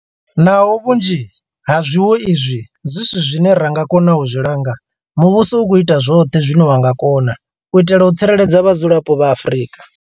Naho vhunzhi ha zwiwo izwi zwi si zwine ra nga kona u zwi langa, muvhuso u khou ita zwoṱhe zwine wa nga kona u itela u tsireledza vhadzulapo vha Afrika.